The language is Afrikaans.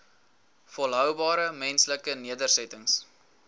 volhoubare menslike nedersettings